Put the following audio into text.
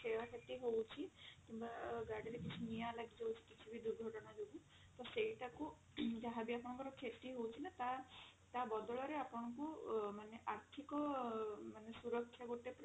କ୍ଷୟକ୍ଷତି ହଉଛି କିମ୍ବା ଗାଡିରେ କିଛି ନିଆଁ ଲାଗିଯାଉଛି କିଛି ବି ଦୁର୍ଘଟଣା ଯୋଗୁ ତ ସେଇଟାକୁ ଯାହା ବି ଆପଙ୍କର କ୍ଷତି ହଉଛି ନା ତା ତା ବଦଳରେ ଆପଣଙ୍କୁ ମାନେ ଆର୍ଥିକ ମାନେ ସୁରକ୍ଷା ଗୋଟେ ଆଁ